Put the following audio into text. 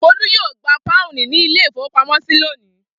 Folú yóò gba pọ́ùn ní ilé-ìfowópamọ́sí lónìí.